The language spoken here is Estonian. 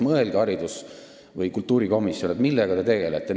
Mõelge, kultuurikomisjon, millega te tegelete!